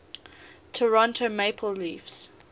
toronto maple leafs